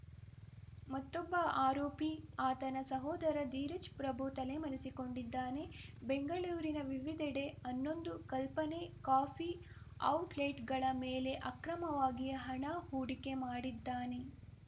ಮತ್ತೊಬ್ಬ ಆರೋಪಿ ಆತನ ಸಹೋದರ ಧೀರಜ್‌ ಪ್ರಭು ತಲೆಮರೆಸಿಕೊಂಡಿದ್ದಾನೆ ಬೆಂಗಳೂರಿನ ವಿವಿಧೆಡೆ ಹನ್ನೊಂದು ಕಲ್ಪನೆ ಕಾಫಿ ಔಟ್‌ಲೆಟ್‌ಗಳ ಮೇಲೆ ಅಕ್ರಮವಾಗಿ ಹಣ ಹೂಡಿಕೆ ಮಾಡಿದ್ದಾನೆ